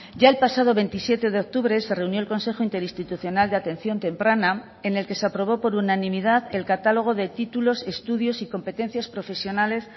ya el pasado veintisiete de octubre se reunió el consejo interinstitucional de atención temprana en el que se aprobó por unanimidad el catálogo de títulos estudios y competencias profesionales